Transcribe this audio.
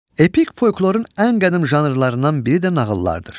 Epik folklorun ən qədim janrlarından biri də nağıllardır.